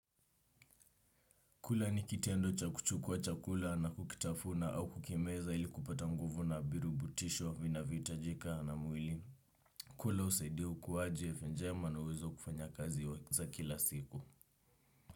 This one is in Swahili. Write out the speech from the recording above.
Kula ni kitendo cha kuchukua chakula na kukitafuna au kukimeza ili kupata nguvu na virutubutisho vinavyohitajika na mwili. Kula husaidia ukuaji afya njema na uwezo kufanya kazi za kila siku.